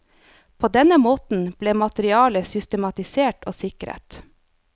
På denne måten ble materialet systematisert og sikret.